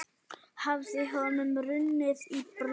Hafði honum runnið í brjóst?